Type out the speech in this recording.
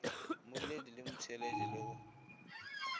mmoledi le motheeletši le go